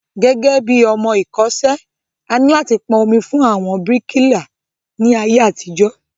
Gẹ́gẹ́bí ọmọ ẹ̀kọ́ṣẹ́, A ní láti pọn omi fún àwọn bíríkìlà ní ayé àtijó